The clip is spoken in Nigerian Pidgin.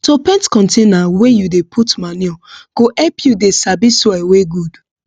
to paint container wey you dey put manure go help you dey sabi soil wey good